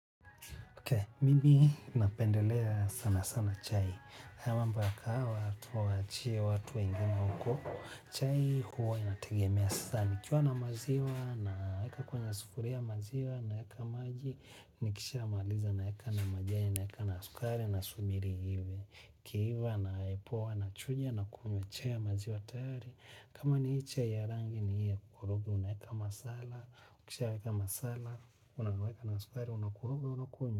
Ok, mimi napendelea sana sana chai. Hayo mambo ya kahawa tuwaachie watu wengine huko. Chai huwa inategemea sana. Nikiwa na maziwa na weka kwenye sufuria ya maziwa na weka maji. Nikisha maaliza na weka na majani, na weka na sukari na subiri iive. Ikiiva na ipoe na chuja na kunywa chai ya maziwa tayari. Kama ni hii chai ya rangi ni hii ya kukoroga, unaweka masala. Ukisha weka masala, unaweka na sukari, unakoroga unakunywa.